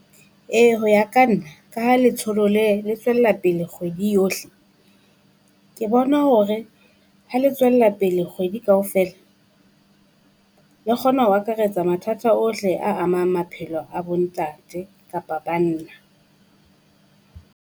Ee ho ya ka nna, ka ha letsholo le le tswella pele kgwedi yohle. Ke bona hore ha le tswella pele Kgwedi kaofela le kgona ho akaretsa mathatha ohle a amang maphelo a bo ntate kapa banna.